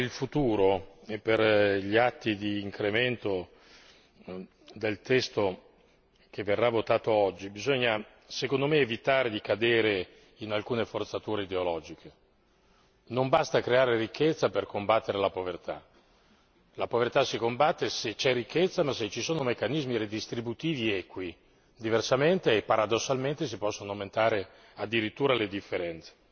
Però per il futuro, per gli atti di incremento del testo che verrà votato oggi, bisogna secondo me evitare di cadere in alcune forzature ideologiche. Non basta creare ricchezza per combattere la povertà, la povertà si combatte se c'è ricchezza, ma solo se ci sono meccanismi ridistributivi equi, diversamente e paradossalmente si possono aumentare addirittura le differenze.